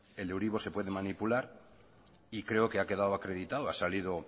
se puede manipular y creo que ha quedado acreditado ha salido